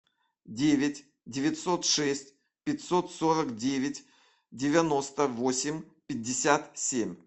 девять девятьсот шесть пятьсот сорок девять девяносто восемь пятьдесят семь